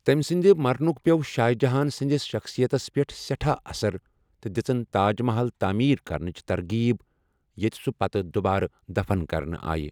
تمہِ سٕنٛدِ مرنُک پیوٚو شاہ جہان سٕنٛدِس شخصِیَتس پٮ۪ٹھ سٮ۪ٹھاہ اَثر تہٕ دِژٕن تاج محل تٲمیٖر کرنچ ترغیب ، ییٚتہٕ سُہ پتہٕ دُبارٕ دَفن کرنہٕ آیہِ۔